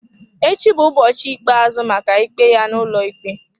Echi bụ ụbọchị ikpeazụ maka ikpe ya n'ụlọikpe.